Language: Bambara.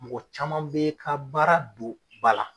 Mɔgɔ caman bɛ ka baara don ba la.